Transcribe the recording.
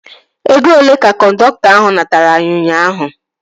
Ego olee ka kọndọktọ ahu natara gị ụnyaahụ?